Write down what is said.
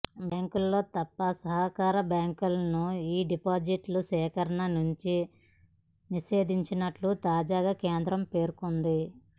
బ్యాంకుల్లో తప్ప సహకార బ్యాంకులను ఈ డిపాజిట్ల సేకరణ నుంచి నిషేధించినట్లు తాజాగా కేంద్రం పేర్కొంది